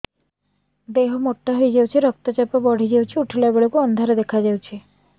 ଦେହ ମୋଟା ହେଇଯାଉଛି ରକ୍ତ ଚାପ ବଢ଼ି ଯାଉଛି ଉଠିଲା ବେଳକୁ ଅନ୍ଧାର ଦେଖା ଯାଉଛି